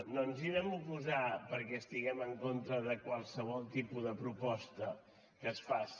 no ens hi vam oposar perquè estiguem en contra de qualsevol tipus de proposta que es faci